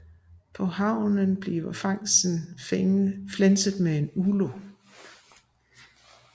På havnen bliver fangsten flænset med en ulo